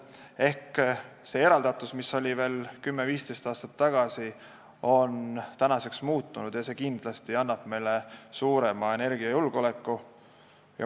Ehk see eraldatus, mis oli veel 10–15 aastat tagasi, on tänaseks muutunud ja see kindlasti tugevdab meie energiajulgeolekut.